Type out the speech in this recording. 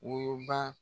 Worobaa